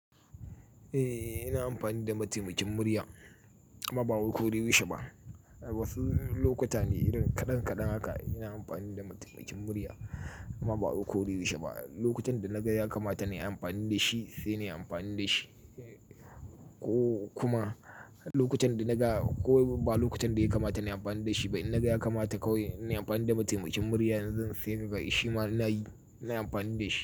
Eh, ina amfani da mataimakin murya amma ba a koyaushe ba. Wasu lokuta ne irin kaɗan kaɗan haka ina amfani da mataimakin murya amma ba a koyaushe ba. Lokutan da naga ya kamata nayi amfani da shi sai nayi amfani da shi. Ko kuma lokutan da naga ko ba lokutan da ya kamata in amfani da shi ba in naga ya kamata kawai inyi amfani da mataimakin murya zan sai kaga shima nayi, nayi amfani da shi.